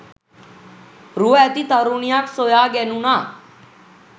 රුව ඇති තරුණියක් සොයා ගැනුණා.